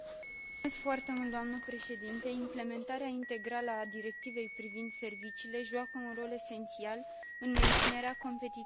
Implementarea integrală a Directivei privind serviciile joacă un rol esențial în menținerea competitivității UE pe plan mondial.